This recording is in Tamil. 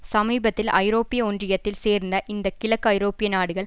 சமீபத்தில் ஐரோப்பிய ஒன்றியத்தில் சேர்ந்த இந்த கிழக்கு ஐரோப்பிய நாடுகள்